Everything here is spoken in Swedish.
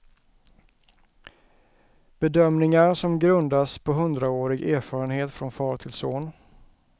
Bedömningar som grundas på hundraårig erfarenhet från far till son.